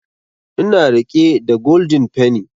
Ina riƙe da golden penny